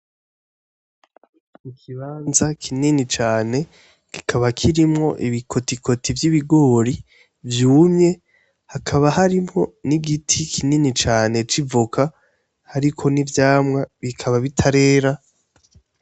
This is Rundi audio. Ikibanza kinini cane, kikaba kirimwo ibikotikoti vy'ibigori vyumye, hakaba harimwo n'igiti kinini cane c'ivoka hariko n'ivyamwa bikaba bitarera.